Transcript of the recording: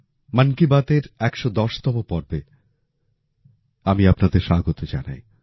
মন কি বাতের ১১০ তম পর্বে আমি আপনাদের স্বাগত জানাই